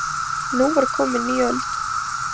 Nú var komin ný öld.